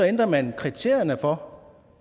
ændrer man kriterierne for